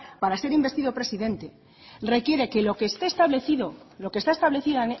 para ser investido presidente requiere que lo que está establecido